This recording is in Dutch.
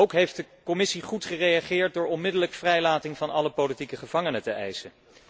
Ook de Commissie heeft goed gereageerd door onmiddellijke vrijlating van alle politieke gevangenen te eisen.